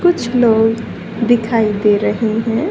कुछ लोग दिखाइ दे रहे है।